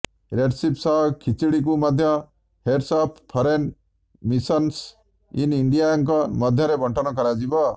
recipe ସହ ଖିଚିଡ଼ିକୁ ମଧ୍ୟ heads of foreign missions in ଇଣ୍ଡିଆଙ୍କ ମଧ୍ୟରେ ବଣ୍ଟନ କରାଯିବ